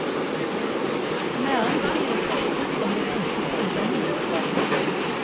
Næringslivet kappes om de flinkeste ungdommene.